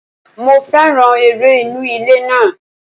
Mo féràn eré inú ilé náà.